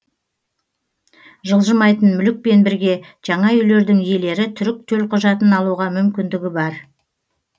жылжымайтын мүлікпен бірге жаңа үйлердің иелері түрік төлқұжатын алуға мүмкіндігі бар